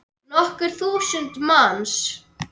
Nokkur þúsund manns.